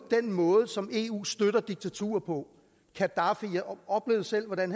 den måde som eu støtter diktaturer på jeg oplevede selv hvordan